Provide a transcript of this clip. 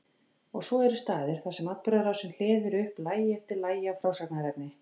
Og svo eru staðir þar sem atburðarásin hleður upp lagi eftir lagi af frásagnarefni.